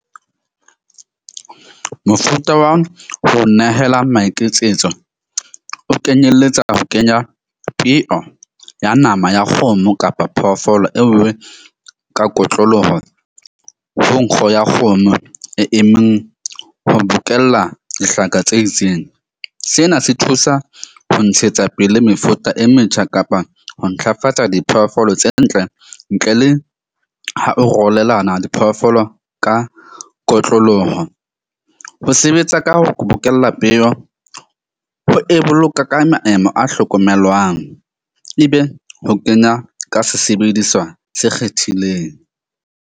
Mofuta wa ho nehela maiketsetso o kenyeletsa ho kenya peo ya nama ya kgomo kapa phoofolo eo ka kotloloho ho nkgo ya kgomo e emeng ho bokella dihlaka tse itseng. Sena se thusa ho ntshetsa pele mefuta e metjha kapa ho ntlafatsa diphoofolo tse ntle ntle le ho arolelana diphoofolo ka kotloloho. Ho sebetsa ka ho bokella peo ho e boloka ka maemo a hlokomelwang. Ebe ho kenya ka sesebediswa se kgethileng.